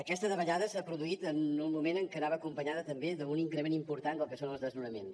aquesta davallada s’ha produït en un moment en què anava acompanyada també d’un increment important del que són els desnonaments